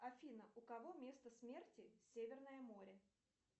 афина у кого место смерти северное море